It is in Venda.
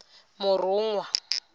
murunwa